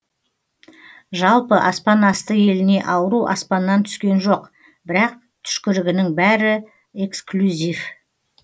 жалпы аспан асты еліне ауру аспаннан түскен жоқ бірақ түшкірігінің бәрі экслюзив